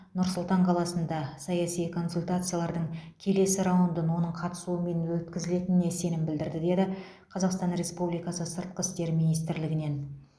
нұр сұлтан қаласында саяси консультациялардың келесі раундын оның қатысуымен өткізілетініне сенім білдірді деді қазақстан республикасы сыртқы істер министрлігінен